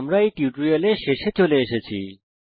আমরা এই টিউটোরিয়ালের শেষে চলে এসেছি